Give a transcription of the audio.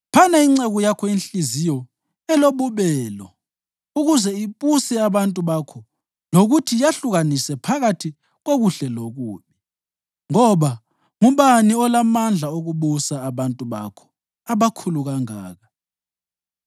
Phana inceku yakho inhliziyo elobubelo ukuze ibuse abantu bakho lokuthi yahlukanise phakathi kokuhle lokubi. Ngoba ngubani olamandla okubusa abantu bakho abakhulu kangaka?”